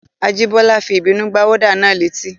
Ajíbọ́lá fi ìbínú gbá wọ́dà náà létí